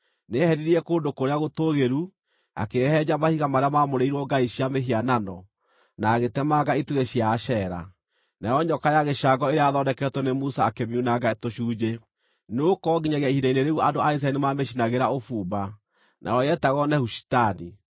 Nĩeheririe kũndũ kũrĩa gũtũũgĩru, akĩhehenja mahiga marĩa maamũrĩirwo ngai cia mĩhianano, na agĩtemenga itugĩ cia Ashera. Nayo nyoka ya gĩcango ĩrĩa yathondeketwo nĩ Musa akĩmiunanga tũcunjĩ, nĩgũkorwo nginyagia ihinda rĩu andũ a Isiraeli nĩmamĩcinagĩra ũbumba. Nayo yetagwo Nehushitani.